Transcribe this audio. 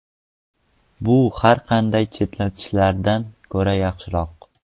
Bu har qanday cheklashlardan ko‘ra yaxshiroq.